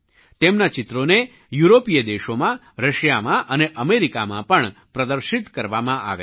તેમનાં ચિત્રોને યુરોપીય દેશોમાં રશિયામાં અને અમેરિકામાં પણ પ્રદર્શિત કરવામાં આવ્યાં છે